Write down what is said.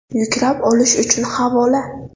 Yuklab olish uchun havola: .